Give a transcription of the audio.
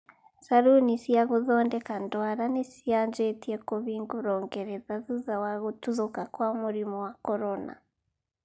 Caruni cia gũthondeka ndwara nĩcianjĩtie kũhingũrwo Ngeretha thutha wa gũtuthũka kwa mũrimu wa corona.